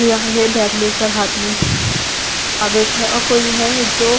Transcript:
आया है बैग लेकर हाथ में कागज है अ कोई है जो--